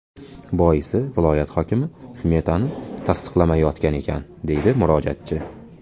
Boisi, viloyat hokimi smetani tasdiqlamayotgan ekan”, deydi murojaatchi.